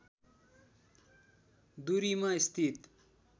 दूरीमा स्थित